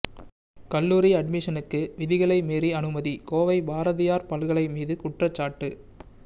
கல்லுாரி அட்மிஷனுக்கு விதிகளை மீறி அனுமதி கோவை பாரதியார் பல்கலை மீது குற்றச்சாட்டு